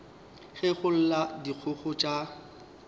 ge go lla dikgogo tša